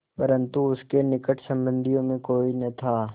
परन्तु उसके निकट संबंधियों में कोई न था